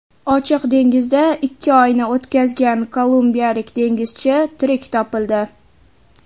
Ochiq dengizda ikki oyni o‘tkazgan kolumbiyalik dengizchi tirik topildi.